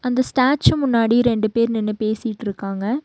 அந்த ஸ்டாச்சு முன்னாடி ரெண்டு பேர் நின்னு பேசிட்ருக்காங்க.